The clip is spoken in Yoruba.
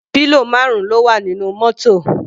Pillow marun ló wà nínú mótò.